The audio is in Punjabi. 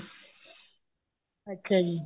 ਅੱਛਾ ਜੀ